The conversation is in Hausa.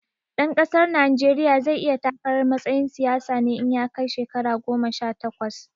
Ɗan ƙasar Najeriya zai iya takarar matsayin siyasa ne in ya kai shekara goma sha takwas